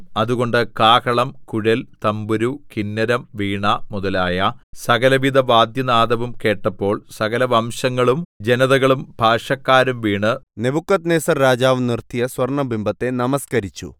അതുകൊണ്ട് കാഹളം കുഴൽ തംബുരു കിന്നരം വീണ മുതലായ സകലവിധ വാദ്യനാദവും കേട്ടപ്പോൾ സകലവംശങ്ങളും ജനതകളും ഭാഷക്കാരും വീണ് നെബൂഖദ്നേസർ രാജാവ് നിർത്തിയ സ്വർണ്ണബിംബത്തെ നമസ്കരിച്ചു